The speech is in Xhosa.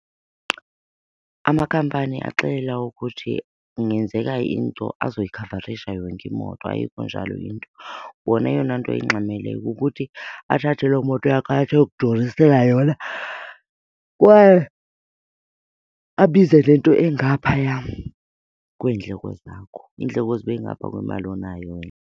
Amakhampani axelela ukuthi kungenzeka into azoyikhavarisha yonke imoto, ayikho njalo into. Wona eyona nto ayingxameleyo kukuthi athathe loo moto yakho atsho ayokudurisela yona kwaye abize nento engaphaya kweendleko zakho. Iindleko zibe ngapha kwemali onayo wena.